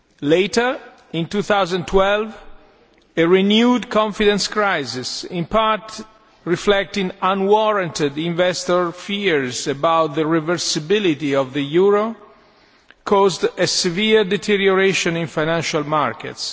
Later in 2012, a renewed confidence crisis, in part reflecting unwarranted investor fears about the reversibility of the euro, caused a severe deterioration in financial markets.